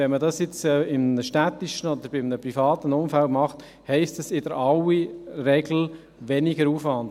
Wenn man das jetzt in einem städtischen oder einem privaten Umfeld macht, heisst das in aller Regel weniger Aufwand.